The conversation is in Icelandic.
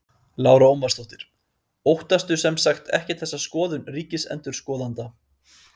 Lára Ómarsdóttir: Óttastu sem sagt ekkert þessa skoðun ríkisendurskoðanda?